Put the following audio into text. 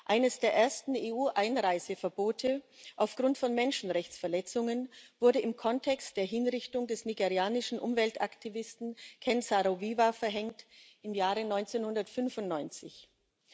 Eines der ersten EU Einreiseverbote aufgrund von Menschenrechtsverletzungen wurde im Kontext der Hinrichtung des nigerianischen Umweltaktivisten Ken Saro Wiwa im Jahre 1995 verhängt.